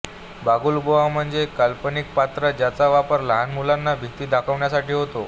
बागुलबुवा म्हणजे एक काल्पनिक पात्र ज्याचा वापर लहान मुलांना भिती दाखविण्यासाठी होतो